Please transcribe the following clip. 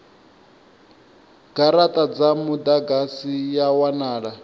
garata dza mudagasi ya wanala